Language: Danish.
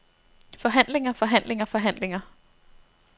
forhandlinger forhandlinger forhandlinger